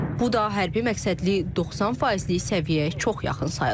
Bu da hərbi məqsədli 90 faizlik səviyyəyə çox yaxın sayılır.